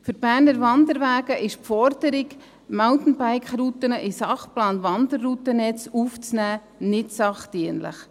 Für die Berner Wanderwege ist die Forderung, Mountainbike-Routen in den Sachplan Wanderroutennetz aufzunehmen, nicht sachdienlich.